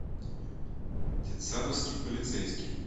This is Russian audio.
детсадовский полицейский